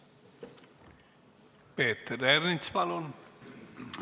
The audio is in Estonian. Peeter Ernits, palun!